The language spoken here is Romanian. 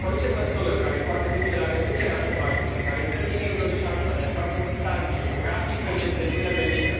Orice măsură care poate duce la reducerea șomajului, care dă tinerilor șansa de a face un stagiu, o practică, este binevenită.